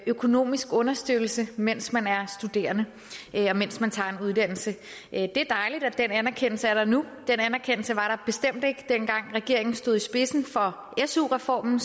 økonomisk understøttelse mens man er studerende og mens man tager en uddannelse det er dejligt at den anerkendelse er der nu den anerkendelse var der bestemt ikke dengang regeringen stod i spidsen for su reformen